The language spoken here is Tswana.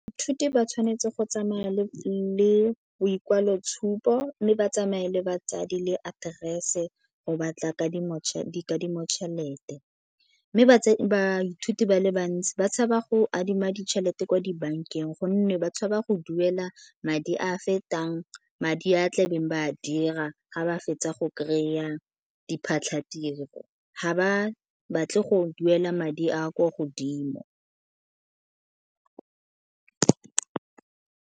Baithuti ba tshwanetse go tsamaya le boikwaloitshupo mme ba tsamaye le batsadi le aterese go batla dikadimo tšhelete. Mme baithuti ba le bantsi ba tshaba go adima ditšhelete kwa dibankeng gonne ba tshaba go duela madi a fetang madi a tlabeng ba a dira ga ba fetsa go kry-a diphatlatiro. Ga ba batle go duela madi a kwa godimo.